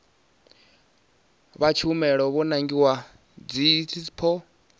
vha tshumelo vho nangiwaho dzidsp